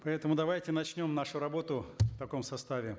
поэтому давайте начнем нашу работу в таком составе